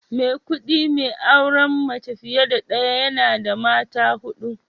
Maikudi mai auren mace fiye da daya, yana da mata hudu